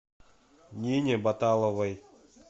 нине баталовой